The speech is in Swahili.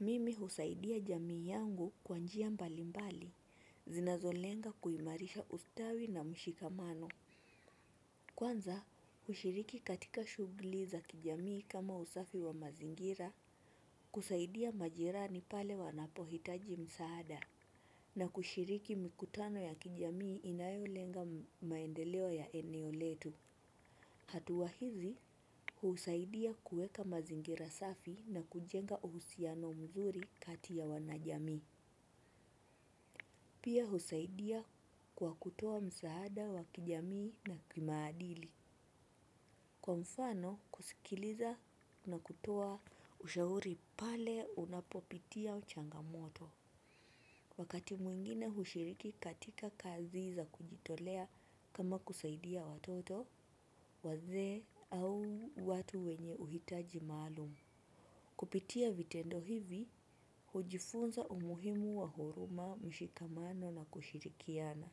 Mimi husaidia jamii yangu kwa njia mbalimbali, zinazolenga kuimarisha ustawi na mshikamano. Kwanza, hushiriki katika shughuli za kijamii kama usafi wa mazingira, kusaidia majirani pale wanapohitaji msaada. Na kushiriki mikutano ya kijamii inayolenga maendeleo ya eneo letu. Hatua hizi, husaidia kuweka mazingira safi na kujenga uhusiano mzuri kati ya wanajamii. Pia husaidia kwa kutoa msaada wa kijamii na kimaadili. Kwa mfano, kusikiliza na kutoa ushauri pale unapopitia changamoto. Wakati mwingine hushiriki katika kazi za kujitolea kama kusaidia watoto, wazee au watu wenye uhitaji maalumu. Kupitia vitendo hivi, hujifunza umuhimu wa huruma mshikamano na kushirikiana.